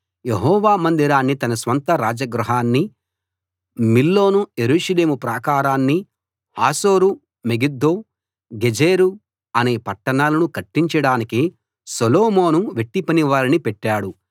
యెహోవా మందిరాన్ని తన స్వంత రాజగృహాన్ని మిల్లోను యెరూషలేము ప్రాకారాన్ని హాసోరు మెగిద్దో గెజెరు అనే పట్టణాలను కట్టించడానికి సొలొమోను వెట్టిపనివారిని పెట్టాడు